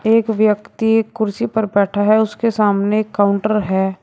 एक व्यक्ति कुर्सी पर बैठा है उसके सामने काउंटर है।